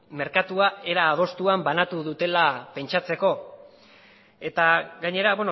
merkatua era adostuan banatu dutela pentsatzeko eta gainera